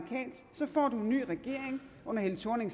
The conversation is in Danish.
ny regering under helle thorning